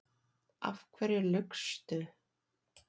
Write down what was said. Af hverju laugstu?